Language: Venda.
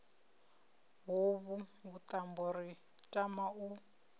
hovhu vhuṱambo ri tama u